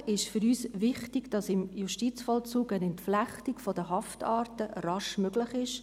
Inhaltlich ist für uns wichtig, dass im Justizvollzug eine Entflechtung der Haftarten rasch möglich ist.